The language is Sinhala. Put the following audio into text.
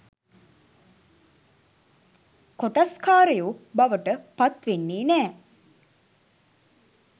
කොටස්කාරයෝ බවට පත්වෙන්නෙ නෑ.